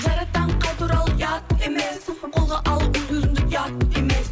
жар атанып қайта оралу ұят емес қолға алу өз өзіңді ұят емес